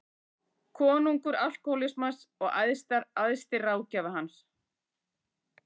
Konungur alkóhólsins og æðsti ráðgjafi hans.